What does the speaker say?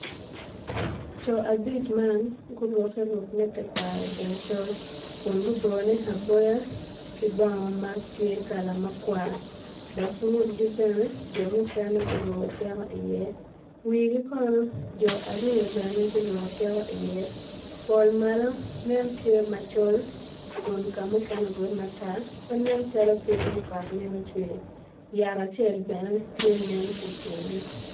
Coo abic man guruke ruke me tekwaro del col kun gubone aboya ki bongo matye kala makwar dok ngutgi bene jo mukene guruko tiko i iye wigi kono jo aryo guruko tiko i iye pol malo nen tye macol kun kamukene orube matar nen calo pinye kot mito cwer yat acel bene tye nen ki kingi